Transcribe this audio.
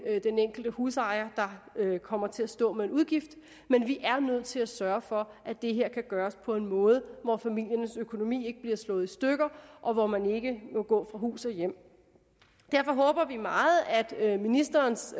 den enkelte husejer der kommer til at stå med en udgift men vi er nødt til at sørge for at det her kan gøres på en måde hvor familiernes økonomi ikke bliver slået i stykker og hvor man ikke må gå fra hus og hjem derfor håber vi meget at at ministerens